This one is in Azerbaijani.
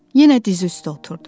Yenə diz üstə oturdu.